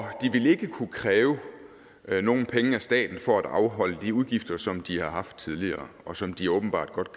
de ville ikke kunne kræve nogen penge af staten for at afholde de udgifter som de har haft tidligere og som de åbenbart godt